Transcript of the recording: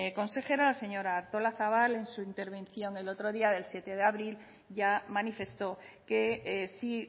consejera la señora artolazabal en su intervención del otro día del siete de abril ya manifestó que sí